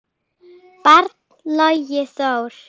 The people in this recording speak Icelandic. barn: Logi Þór.